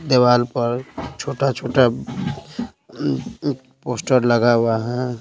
देवाल पर छोटा-छोटा पोस्टर लगा हुआ है।